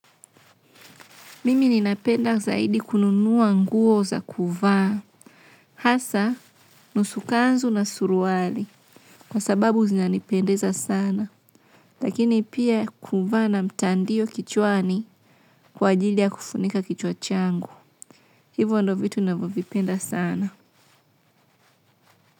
Mimi ninapenda zaidi kununua nguo za kuvaa. Hasa, nusu kanzu na suruali. Kwa sababu zinanipendeza sana. Lakini pia kuvaa na mtandio kichwani kwa ajili ya kufunika kichwa changu. Hivyo ndio vitu ninavyo vipenda sana.